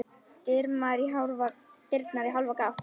Dyrnar í hálfa gátt.